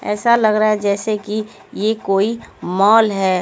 ऐसा लग रहा है जैसे कि ये कोई मॉल है।